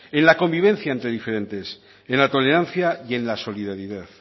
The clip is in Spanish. en la convivencia entre diferentes en la tolerancia y en la solidaridad